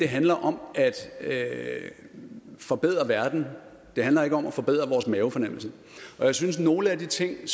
handler om at forbedre verden det handler ikke om at forbedre vores mavefornemmelse og jeg synes at nogle af de ting